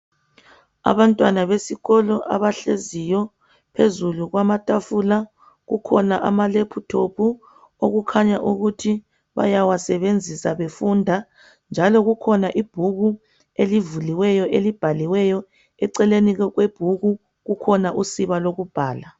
Abantwana besikolo abahleziyo phezulu kwamatafula kukhona ama laptop okukhanya ukuthi bayawasebenzisa befunda njalo kukhona ibhuku elibuliweyo elibhaliweyo eceleni kwebhuku kukhona usiba lokubhala.